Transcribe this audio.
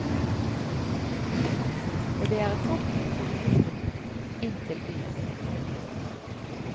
Og det er et godt utbygget busstilbud inn til byen. punktum